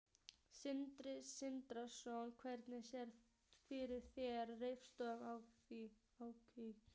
Sindri Sindrason: Hvernig sérðu fyrir þér restina af árinu?